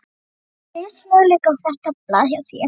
Hvaða lífsmöguleika á þetta blað hjá þér?